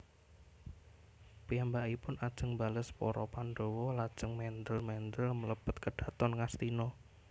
Piyambakipun ajeng mbales para Pandhawa lajeng mendhèl mendhèl mlebet kedhaton Ngastina